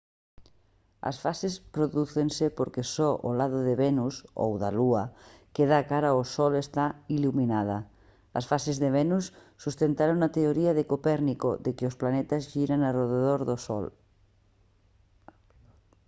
as fases prodúcense porque só o lado de venus ou da lúa que dá cara ao sol está iluminada. as fases de venus sustentaron a teoría de copérnico de que os planetas xiran arredor do sol